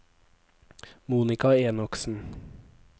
Monica Enoksen